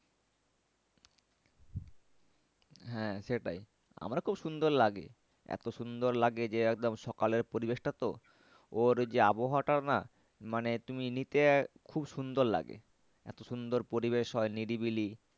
হ্যাঁ সেটাই আমার খুব সুন্দর লাগে। এতো সুন্দর লাগে যে একদম সকালের পরিবেশটা তো ওর যে আবহাওয়াটা না মানে তুমি নিতে খুব সুন্দর লাগে। এতো সুন্দর পরিবেশ হয় নিরিবিলি